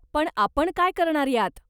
पण, आपण काय करणार यात?